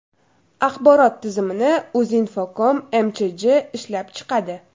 Axborot tizimini UZINFOCOM MChJ ishlab chiqadi.